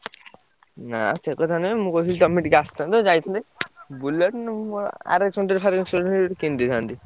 ନା ସେ କଥା ନୁହେଁ ମୁଁ କହୁଥିଲି ତମେ ଟିକେ ଆସିଥାନ୍ତ ଯାଇଥାନ୍ତେ Bullet ନହେଲେ RS hundred ଫାରେକ୍ସେ hundred କିଣିଦେଇଥାନ୍ତି।